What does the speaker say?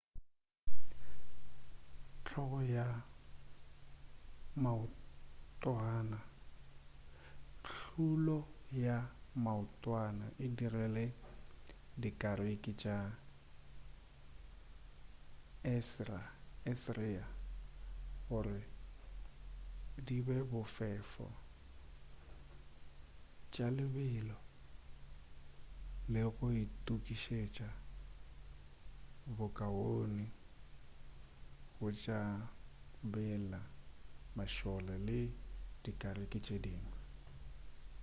hlolo ya maotwana e dirile dikariki tša assyria gore di be bofefo tša lebelo le go itukišetša bokaone go tšabela mašole le dikariki tše dingwe